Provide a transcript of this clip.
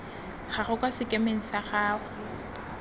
gago kwa sekemeng sa gago